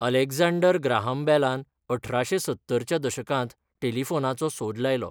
Alexander Graham बेलान अठराशें सत्तर च्या दशकांत टेलिफोनाचो सोद लायलो.